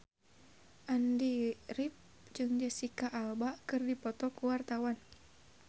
Andy rif jeung Jesicca Alba keur dipoto ku wartawan